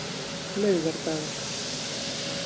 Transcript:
laugardagar